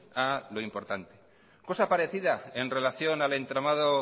a lo importante cosa parecida en relación al entramado